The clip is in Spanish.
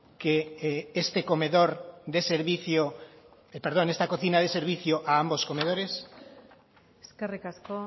que esta cocina dé servicio a ambos comedores eskerrik asko